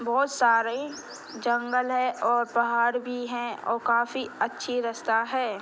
बहोत सारे जंगल है और पहाड़ भी हैं और काफी अच्छी रस्ता है।